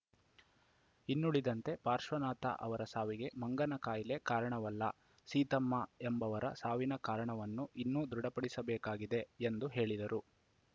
ಇನ್ನುಳಿದಂತೆ ಪಾಶ್ರ್ವನಾಥ ಅವರ ಸಾವಿಗೆ ಮಂಗನ ಕಾಯಿಲೆ ಕಾರಣವಲ್ಲ ಸೀತಮ್ಮ ಎಂಬವರ ಸಾವಿನ ಕಾರಣವನ್ನು ಇನ್ನೂ ದೃಢಪಡಬೇಕಾಗಿದೆ ಎಂದು ಹೇಳಿದರು